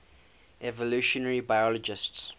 evolutionary biologists